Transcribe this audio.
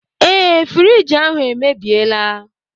Ee, friiji ahụ emebiela.